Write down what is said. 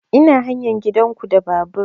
Ina hanyar gidan ku da babur